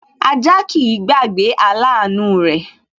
Ajá kìí gbàgbé aláàánú rẹ̀